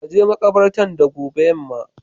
ka je makabartan da gobe yamma.